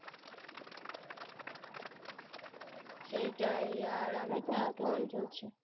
সেটাই আর আমি তো